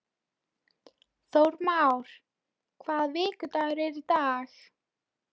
Þórmar, hvaða vikudagur er í dag?